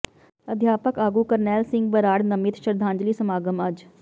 ਅਧਿਆਪਕ ਆਗੂ ਕਰਨੈਲ ਸਿੰਘ ਬਰਾੜ ਨਮਿਤ ਸ਼ਰਧਾਂਜਲੀ ਸਮਾਗਮ ਅੱਜ